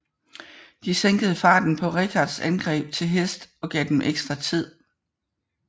De sænkede farten på Richards angreb til hest og gav dem ekstra tid